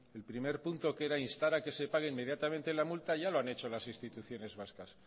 el primer punto que era instar a que se paguen inmediatamente la multa ya lo han hecho las instituciones vascas